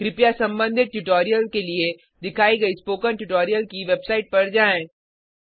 कृपया संबंधित ट्यूटोरियल के लिए दिखाई गई स्पोकन ट्यूटोरियल की वेबसाइट पर जाएँ